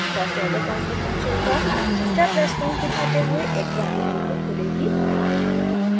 first order transfer function का step response दिखाते हुए एक ग्राफ़िक विंडो खुलेगी